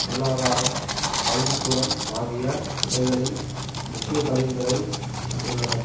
பொருளாதாரம் கல்விக்கூடம் ஆகிய துறைகளில் முக்கிய பதவிகளை பெற்றுள்ளனர்